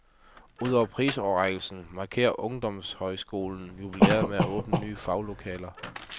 Ud over prisoverrækkelsen markerer ungdomshøjskolen jubilæet med at åbne nye faglokaler.